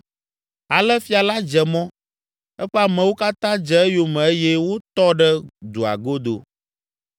Ale fia la dze mɔ, eƒe amewo katã dze eyome eye wotɔ ɖe dua godo.